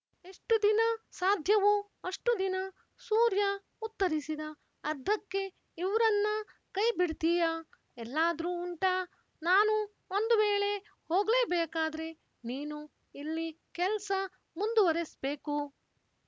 ಎಷ್ಟು ದಿನ ಸಾಧ್ಯವೋ ಅಷ್ಟು ದಿನ ಸೂರ್ಯ ಉತ್ತರಿಸಿದ ಅದ್ದಕ್ಕೆ ಇವ್ರನ್ನ ಕೈ ಬಿಡ್ತೀಯ ಎಲ್ಲಾದ್ರೂ ಉಂಟಾ ನಾನು ಒಂದು ವೇಳೆ ಹೋಗ್ಲೇಬೇಕಾದ್ರೆ ನೀನು ಇಲ್ಲಿ ಕೆಲ್ಸ ಮುಂದುವರೆಸ್ಬೇಕು